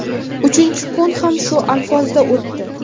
Uchinchi kun ham shu alfozda o‘tdi.